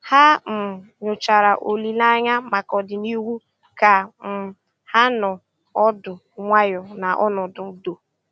Ha um nyòchàra òlìlè ànyá maka ọ̀dị̀nihú kà um ha nọ̀ ọ́dụ́ nwayọ́ ná ọnọ́dụ́ ùdò.